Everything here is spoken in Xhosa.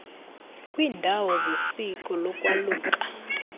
kwiiindawo zesiko lokwaluka